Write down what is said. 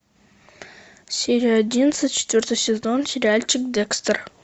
серия одиннадцать четвертый сезон сериальчик декстер